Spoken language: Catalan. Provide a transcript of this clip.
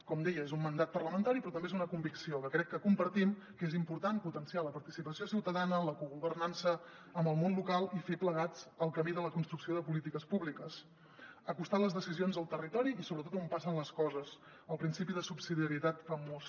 com deia és un mandat parlamentari però també és una convicció que crec que compartim que és important potenciar la participació ciutadana en la cogovernança amb el món local i fer plegats el camí de la construcció de polítiques públiques acostar les decisions al territori i sobretot on passen les coses el principi de subsidiarietat famós